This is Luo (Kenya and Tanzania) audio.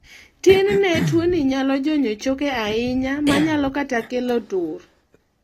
tinne tuoni nyalo jonyo choke ahinya manyalo kata kelo tur